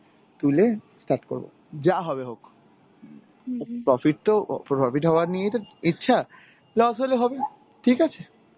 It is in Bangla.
তুলে start করব. যা হবে হোক. profit তো ও profit হয়া নিয়ে তো ইচ্ছা, loss হলে হবে. ঠিক আছে?